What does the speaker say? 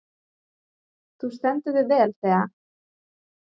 Þú stendur þig vel, Thea!